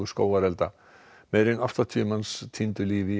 skógarelda meira en áttatíu manns týndu lífi í